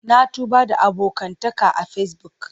Na tuba da abokantaka a Facebook.